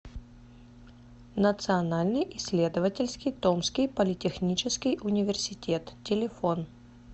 национальный исследовательский томский политехнический университет телефон